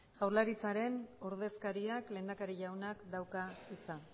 jaurlaritzaren ordezkariak lehendakari jaunak dauka hitza